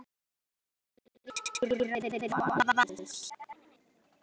Önnur bandarísk í raðir Vals